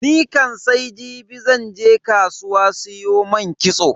Nikam sai jibi zan je kasuwa siyo man kitso.